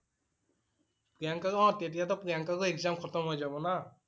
প্ৰিয়ংকা টো অ'। তেতিয়া টো প্ৰিয়ংকাৰো exam খতম হৈ যাব না।